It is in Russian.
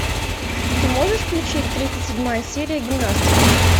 ты можешь включить тридцать седьмая серия гимнастки